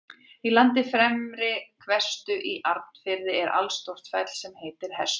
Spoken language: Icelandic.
Í landi Fremri-Hvestu í Arnarfirði er allstórt fell sem heitir Hestur.